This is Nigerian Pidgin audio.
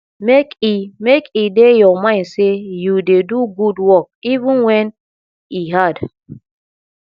make e make e dey your mind sey you dey do good work even wen e hard